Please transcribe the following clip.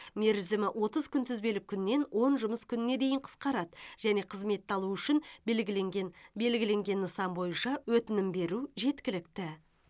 мерзімі отыз күнтізбелік күннен он жұмыс күніне дейін қысқарады және қызметті алу үшін белгіленген белгіленген нысан бойынша өтінім беру жеткілікті